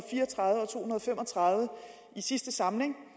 og fem og tredive i sidste samling